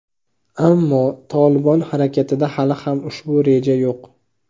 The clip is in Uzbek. ammo "Tolibon" harakatida hali ham ushbu reja yo‘q.